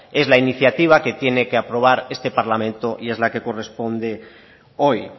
es la iniciativa que tiene que aprobar este parlamento y es la que corresponde hoy